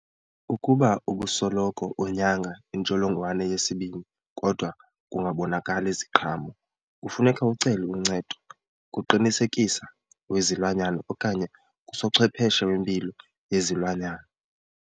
Ukuba ubusoloko unyanga intsholongwane yesibini kodwa kungabonakali ziqhamo, kufuneka ucele uncedo kuqinisekisa wezilwanyana okanye kusochwepheshe wempilo yezilwanyana.